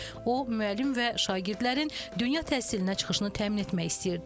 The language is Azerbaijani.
O müəllim və şagirdlərin dünya təhsilinə çıxışını təmin etmək istəyirdi.